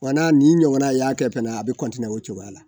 Wa n'a nin ɲɔgɔnna y'a kɛ fana a bɛ o cogoya la